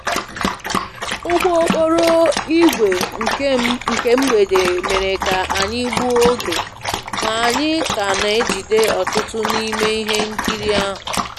Ụgbọ okporo ígwè nke mgbede mere ka anyị gbuo oge, ma anyị ka na-ejide ọtụtụ n'ime ihe nkiri ahụ